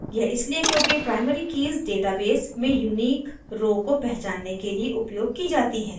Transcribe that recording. यह इसलिए क्योंकि primary कीज़ database में unique row को पहचानने के लिए उपयोग की जाती हैं